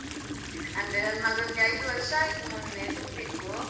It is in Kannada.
ಅಂದ್ರೆ ನನ್ ಮಗಂಗೆ ಐದು ವರ್ಷ ಆಯ್ತು ಮೊನ್ನೆ ತುಂಬಿತು.